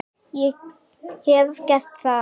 Ég hef gert það.